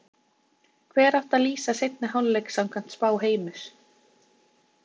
Hver átti að lýsa seinni hálfleik samkvæmt spá Heimis?